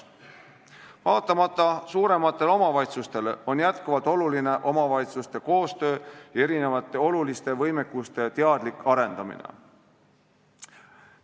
Vaatamata suurematele omavalitsustele on aga edaspidigi oluline omavalitsuste koostööd ja erinevaid olulisi võimekusi teadlikult arendada.